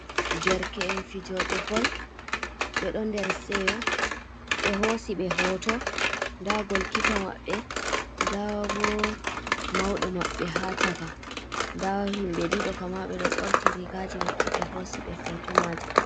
Derke’en fijooɓe bol, ɓe ɗo der seyo. Ɓe hoosi ɓe hooto, daa golkiipa maɓɓe, daa bo mauɗo maɓɓe ha chaka, daa himɓe ɗiɗo kam maa ɓe ɗo ɓorti rigaaji maɓɓe ɓe hoosi ɓe hooto maajum.